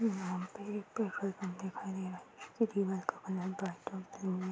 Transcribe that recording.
बादल दिखाई दे रहा है। कलर व्हाइट और ब्लू है।